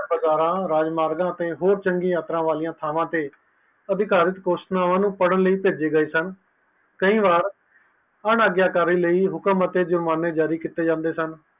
ਰਾਜਮਾਰ ਅਤੇ ਹੋਰ ਚੰਗੀ ਯਾਤਰਾ ਅਤੇ ਅਧਿਕਾਰੀ ਘੋਸ਼ਣਾਵਾਂ ਨੂੰ ਪੈੜਾਂ ਲਯੀ ਪੇਜੇ ਗਏ ਸਨ ਤੇ ਹੁਕਮ ਅਤੇ ਜੁਰਮਾਨੇ ਜਾਰੀ ਕੀਤੀ ਗਏ ਸੀ